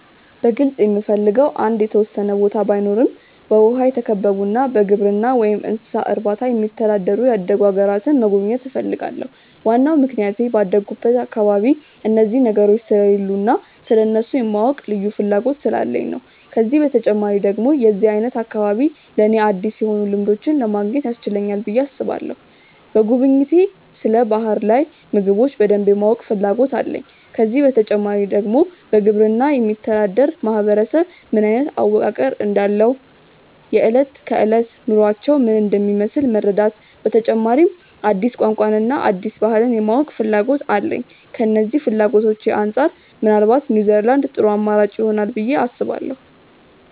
በግልጽ የምፈልገው አንድ የተወሰነ ቦታ ባይኖረም በውሃ የተከበቡና በግብርና ወይም እንስሳት እርባታ የሚተዳደሩ ያደጉ አገራትን መጎብኘት እፈልጋለሁ። ዋናው ምክንያቴ ባደኩበት አካባቢ ላይ እነዚህ ነገሮች ስለሌሉ እና ስለእነሱ የማወቅ ልዩ ፍላጎት ስላለኝ ነው። ከዚህ በተጨማሪ ደግሞ የዚህ አይነት አካባቢ ለኔ አዲስ የሆኑ ልምዶችን ለማግኘት ያስችለናል ብዬ አስባለሁ። በጉብኝቴ ስለ ባህር ላይ ምግቦች በደንብ የማወቅ ፍላጎት አለኝ። ከዚህ በተጨማሪ ደግሞ በግብርና የሚተዳደር ማህበረሰብ ምን አይነት አወቃቀር እንዳለው፣ የእለት ከእለት ውሎአቸው ምን እንደሚመስል መረዳት፤ በተጨማሪ ደግሞ አዲስ ቋንቋን እና አዲስ ባህልን የማወቅና ፍላጎት አለኝ። ከነዚህ ፍላጎቶቼ አንጻር ምናልባት ኒውዝላንድ ጥሩ አማራጭ ይሆናል ብዬ አስባለሁ።